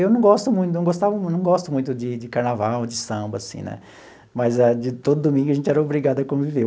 Eu não gosto muito não gostava muito não gosto muito de de carnaval, de samba assim né, mas, de todo domingo, a gente era obrigado a conviver.